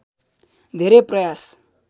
धेरै प्रयास